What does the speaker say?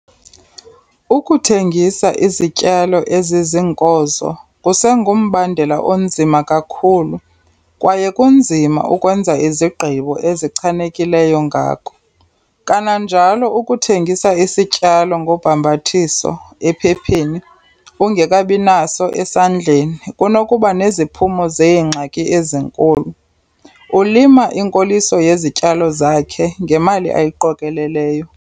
Ukuthengisa izityalo eziziinkozo kusengumbandela onzima kakhulu kwaye kunzima ukwenza izigqibo ezichanekileyo ngako. Kananjalo ukuthengisa isityalo ngobhambathiso, ephepheni, ungekabi naso esandleni kunokuba neziphumo zeengxaki ezinkulu. Ulima inkoliso yezityalo zakhe ngemali ayiqokeleleyo.